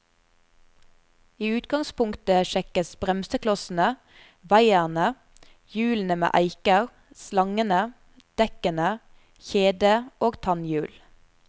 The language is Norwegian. I utgangspunktet sjekkes bremseklossene, vaierne, hjulene med eiker, slangene, dekkene, kjede og tannhjul.